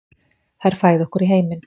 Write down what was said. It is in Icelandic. Þær fæða okkur í heiminn.